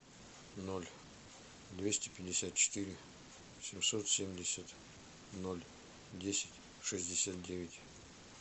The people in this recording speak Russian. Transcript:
ноль двести пятьдесят четыре семьсот семьдесят ноль десять шестьдесят девять